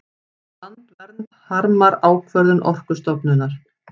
Landvernd harmar ákvörðun Orkustofnunar